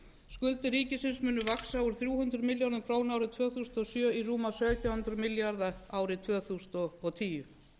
skuldir ríkisins munu vaxa úr þrjú hundruð milljörðum króna árið tvö þúsund og sjö í rúma sautján hundruð milljarða árið tvö þúsund og tíu